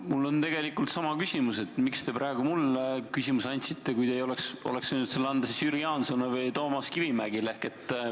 Mul on tegelikult sama küsimus: miks te praegu mulle küsimuseks sõna andsite, kui te oleksite võinud sõna anda Jüri Jaansonile või Toomas Kivimägile?